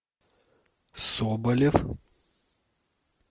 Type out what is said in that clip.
соболев